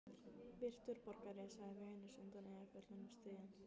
Virtur borgari, sagði Venus undan Eyjafjöllum stríðin.